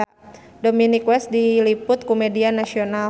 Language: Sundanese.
Dominic West diliput ku media nasional